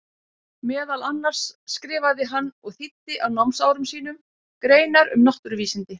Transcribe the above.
Meðal annars skrifaði hann og þýddi á námsárum sínum greinar um náttúruvísindi.